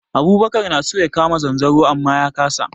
Abubakar na so ya kama zanzaro amma ya kasa.